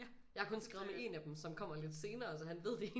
Jeg har kun skrevet med en af dem som kommer lidt senere så han ved det